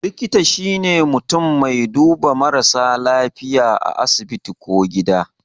Likita shine mutun mai duba marasa lafiya a asibiti ko gida